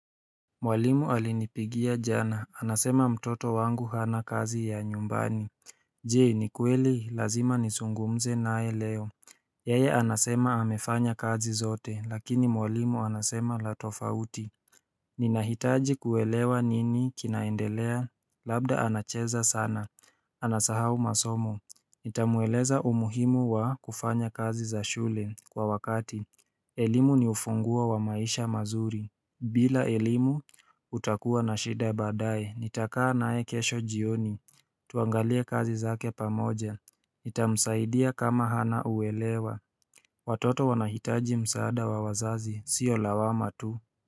Mwalimu alinipigia jana anasema mtoto wangu hana kazi ya nyumbani Je ni kweli lazima nisungumze naye leo Yeye anasema amefanya kazi zote lakini mwalimu anasema la tofauti Ninahitaji kuelewa nini kinaendelea labda anacheza sana Anasahau masomo Nitamueleza umuhimu wa kufanya kazi za shule kwa wakati elimu ni ufunguo wa maisha mazuri bila elimu, utakuwa na shida baadaye, nitakaa naye kesho jioni Tuangalie kazi zake pamoja, nitamsaidia kama hana uelewa Watoto wanahitaji msaada wa wazazi, sio lawama tu.